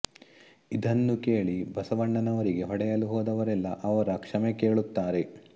ಇದನ್ನು ಕೇಳಿ ಬಸವಣ್ಣನವರಿಗೆ ಹೊಡೆಯಲು ಹೋದವರೆಲ್ಲ ಅವರ ಕ್ಷಮೆ ಕೇಳುತ್ತಾರೆ